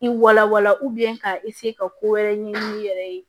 I wala wala ka ka ko wɛrɛ ɲɛɲini i yɛrɛ ye